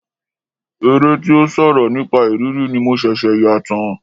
Eré tí ó sọ̀rọ̀ nípa ìrírí ni mo ṣẹ̀ṣẹ̀ yà tán.